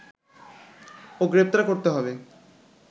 ও গ্রেপ্তার করতে হবে